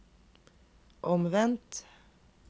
omvendt